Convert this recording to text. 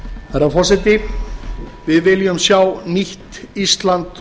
herra forseti við viljum sjá nýtt ísland